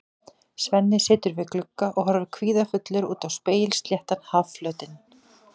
Svenni situr við glugga og horfir kvíðafullur út á spegilsléttan hafflötinn.